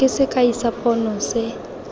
ke sekai sa pono se